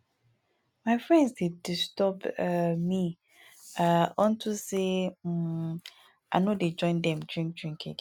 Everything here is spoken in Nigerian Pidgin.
my friends dey disturb um me um unto say um i no dey join dem drink drink again